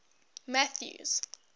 mathews